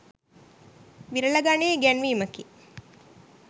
විරල ගණයේ ඉගැන්වීමකි.